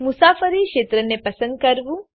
મુસાફરી ક્ષેત્રને પસંદ કરવું